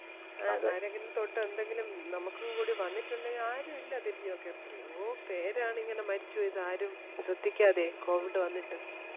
ആരെങ്കിലെയും തൊട്ടു എന്തെങ്കിലും നമുക്കുംകൂടി വന്നിട്ടുണ്ടേൽ ആരും ഇല്ല തിരിഞ്ഞു നോക്കാൻ എത്രെയോ പേരാണ് ഇങ്ങനെ മരിച്ചു വീഴുന്നത് ആരും ശ്രെദ്ധിക്കാതെ covid വന്നിട്ടു